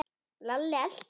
Lalli elti Jóa inn.